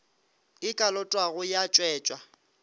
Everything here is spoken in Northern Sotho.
e ka lotwago ya tšwetšwa